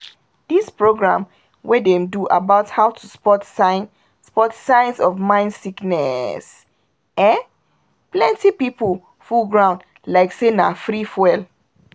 dis program wey dem do about how to spot signs spot signs of mind sickness ehn! plenty pipul full ground like say na free fuel